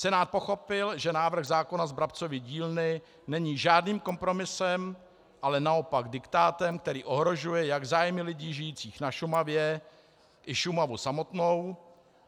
Senát pochopil, že návrh zákona z Brabcovy dílny není žádným kompromisem, ale naopak diktátem, který ohrožuje jak zájmy lidí žijících na Šumavě, i Šumavu samotnou.